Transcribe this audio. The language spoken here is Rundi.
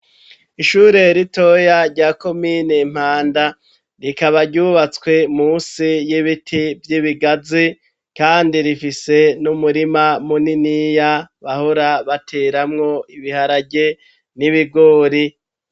Ishure ritoya rya komine Mpanda, rikaba ryubatswe musi y'ibiti vy'ibigazi kandi rifise n'umurima muniniya bahora bateramwo ibiharage n'ibigori.